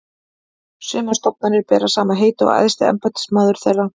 Sumar stofnanir bera sama heiti og æðsti embættismaður þeirra.